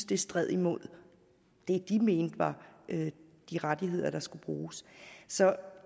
det strider imod det de mener er de rettigheder der skal bruges så